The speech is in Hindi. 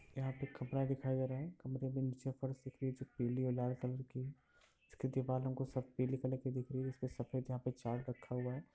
यहाँ पे एक कपड़ा दिखाई दे रहा है कमरे के नीचे फर्श पे पीली और लाल कलर की है इसकी दीवालों को सब पीली कलर की दिख रही है उस पे सफेद यहाँ पे चार्ट रखा हुआ है।